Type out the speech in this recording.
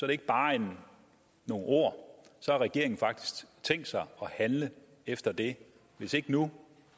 det ikke bare nogle ord så har regeringen faktisk tænkt sig at handle efter det hvis ikke nu